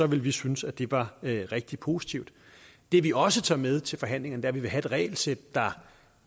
vi synes at det var rigtig positivt det vi også tager med til forhandlingerne er at vi vil have et regelsæt der